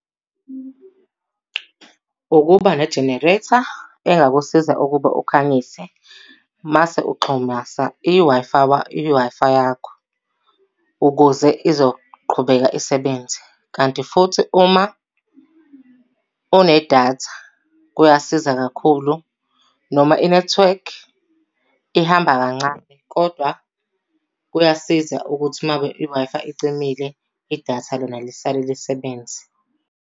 Ukuba ne-generator engakusiza ukuba ukhangise. Mase uxhumasa iWi-Fi yakho, ukuze izoqhubeka isebenze. Kanti futhi uma unedatha kuyasiza kakhulu. Noma inethiwekhi ihambe kancane kodwa kuyasiza ukuthi uma ngabe i-Wi-Fi icimile, idatha lona lisale lisebenze.